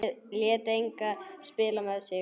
Lét engan spila með sig.